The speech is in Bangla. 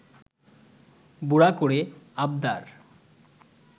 বুড়া করে আবদার